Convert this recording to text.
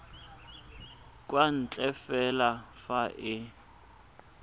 kwa ntle fela fa e